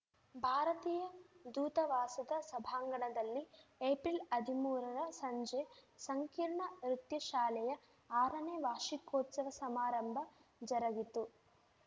ಭಾರತೀಯ ದೂತವಾಸದ ಸಂಭಾಂಗಣದಲ್ಲಿ ಏಪ್ರಿಲ್‌ ಹದಿಮೂರರ ಸಂಜೆ ಸಂಕೀರ್ಣ ನೃತ್ಯ ಶಾಲೆಯ ಆರನೇ ವಾರ್ಷಿಕೋತ್ಸವ ಸಮಾರಂಭ ಜರುಗಿತು